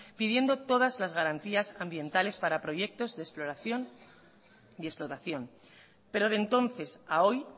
pidiendo todas las garantías ambientales para proyectos de exploración y explotación pero de entonces a hoy